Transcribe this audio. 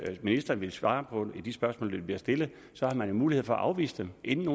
ministeren vil svare på de spørgsmål der bliver stillet så har man jo mulighed for at afvise dem inden